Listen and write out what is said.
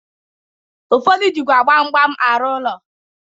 Ụfọdụ jikwa gbam gbam arụ ụlọ.